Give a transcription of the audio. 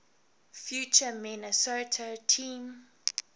future minnesota team